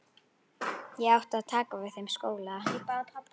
Ég átti að taka við þeim skóla.